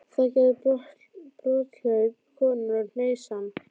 Það gerði brotthlaup konunnar og hneisan.